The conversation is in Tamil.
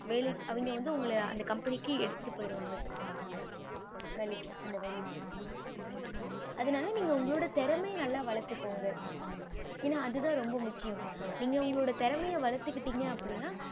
வேலைக்கு அவிங்க வந்து உங்கள அந்த company எடுத்துட்டு போயிருவாங்க வேலைக்கு அந்த வேலைக்கு அதுனால நீங்க உங்களோட திறமைய நல்ல வலத்துகொங்க ஏன அது தான் ரொம்ப முக்கியம் நீங்க உங்களோட திறமைய வளத்துகிட்டிங்க அப்படின்னா